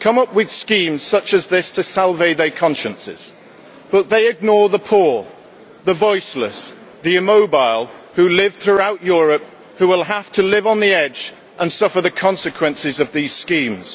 come up with schemes such as this to salve their consciences, but they ignore the poor, the voiceless, the immobile, who live throughout Europe and who will have to live on the edge and suffer the consequences of these schemes.